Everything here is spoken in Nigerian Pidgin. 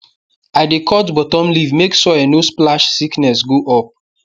i dey cut bottom leaf make soil no splash sickness go up